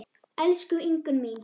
Elsku Ingunn mín.